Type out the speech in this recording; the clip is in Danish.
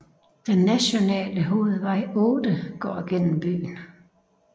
Den nationale hovedvej 8 går gennem byen